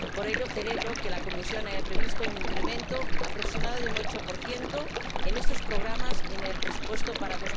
Por ello, celebro que la Comisión haya previsto un incremento aproximado del 8 en estos programas en el presupuesto para